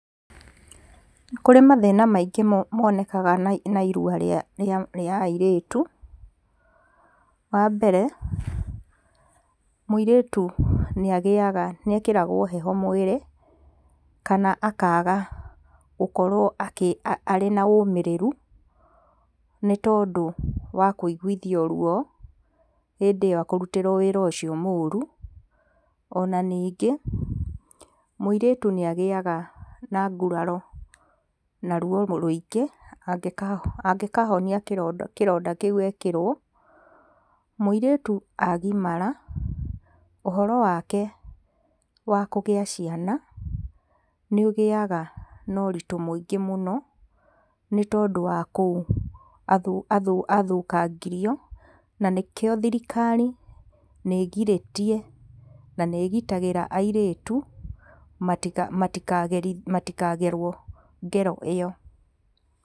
Nĩ kũrĩ mathĩna maingĩ monekanaga na irua rĩa rĩa airĩtu, wa mbere, mũirĩtu nĩ agĩaga, nĩ ekĩragwo heho mwĩrĩ, kana akaga gũkorwo akĩ a arĩna ũmĩrĩru, nĩtondũ wa kũigithio ruo, hĩndĩ ĩyo akũrutĩrwo wĩra ũcio mũru, ona ningĩ, mũirĩtu nĩagĩaga na nguraro, na ruo rũingĩ, angĩkaho angĩkahonia kĩronda kĩronda kĩũ ekĩrwo. Mũirĩtu agimara, ũhoro wake wa kũgĩa ciana, nĩ ũgĩaga na ũritũ mũingĩ mũno, nĩ tondũ wa kũu athũ, athũ, athũkangirio, na nĩkio thirikari nĩgirĩtie na nĩgitagĩra airĩtu, matika, matika, matika gerwo ngero ĩyo.